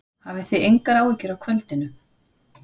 Hafið þið engar áhyggjur af kvöldinu?